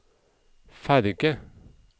ferge